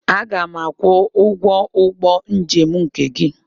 Aga m akwụ ụgwọ ụgbọ njem nke gị.